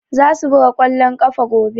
Za su buga ƙwallon ƙafa gobe.